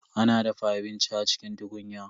A na dafa abinci a cikin tukunya.